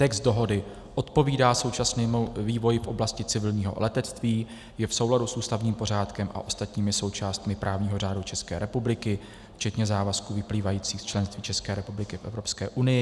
Text dohody odpovídá současnému vývoji v oblasti civilního letectví, je v souladu s ústavním pořádkem a ostatními součástmi právního řádu České republiky včetně závazků vyplývajících z členství České republiky v Evropské unii.